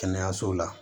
Kɛnɛyaso la